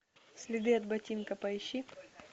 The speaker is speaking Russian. следы от ботинка поищи